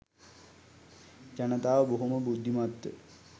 ජනතාව බොහොම බුද්ධිමත්ව